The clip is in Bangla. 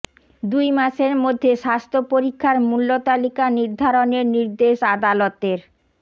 দুই মাসের মধ্যে স্বাস্থ্য পরীক্ষার মূল্য তালিকা নির্ধারণের নির্দেশ আদালতের